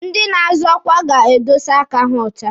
Ndị na-azọ ọkwa ga-edosa aka ha ọcha.